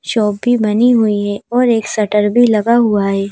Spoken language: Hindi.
शॉप भी बनी हुई हैऔर एक शटर भी लगा हुआ है।